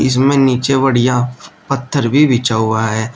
इसमें नीचे बढ़िया पत्थर भी बिछा हुआ है।